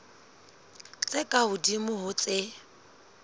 tse ka hodimo ho tse